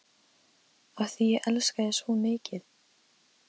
Af því ég elska þig svo mikið.